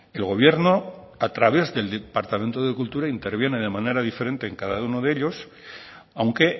el gobierno a través del departamento de cultura interviene de manera diferente en cada uno de ellos aunque